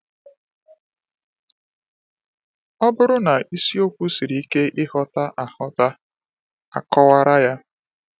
Ọ bụrụ na isiokwu siri ike ịghọta, a ịghọta, a kọwara ya.